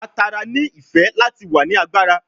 A tara ni ife lati wa ni agbara